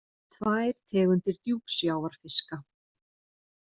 Tvær tegundir djúpsjávarfiska.